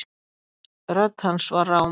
Rödd hans var rám.